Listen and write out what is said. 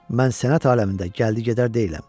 Mən sənət aləmində gəldi-gedər deyiləm.